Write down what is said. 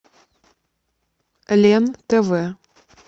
лен тв